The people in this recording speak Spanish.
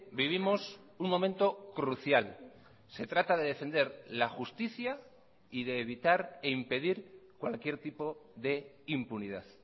vivimos un momento crucial se trata de defender la justicia y de evitar e impedir cualquier tipo de impunidad